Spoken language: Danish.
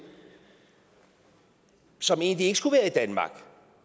som egentlig ikke skulle være i danmark